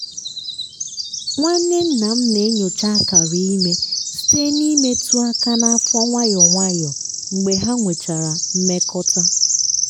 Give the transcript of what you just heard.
nwanne nna m na-enyocha akara ime site n’imetụ aka n’afọ nwayọ nwayọ mgbe ha nwechara mmekọta.